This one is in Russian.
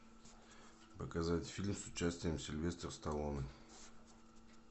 показать фильм с участием сильвестра сталлоне